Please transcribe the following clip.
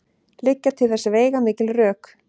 Liggja til þess veigamikil rök.